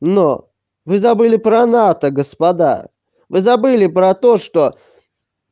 но вы забыли про нато господа вы забыли про то что